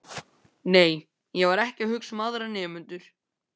Nei, ég var ekki að hugsa um aðra nemendur.